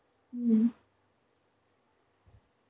হম.